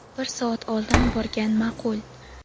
Bir soat oldin borgan ma’qul.